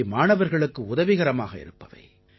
இவை மாணவர்களுக்கு உதவிகரமாக இருப்பவை